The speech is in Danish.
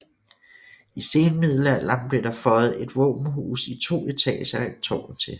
I senmiddealderen blev der føjet et våbenhus i to etager og et tårn til